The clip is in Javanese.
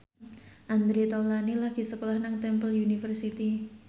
Andre Taulany lagi sekolah nang Temple University